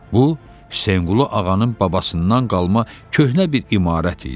Bu, Hüseynqulu Ağanın babasından qalma köhnə bir imarət idi.